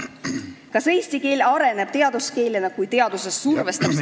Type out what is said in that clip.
Kas eesti keel areneb teaduskeelena, kui teaduse survestamisega ...